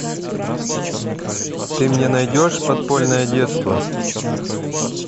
ты мне найдешь подпольное детство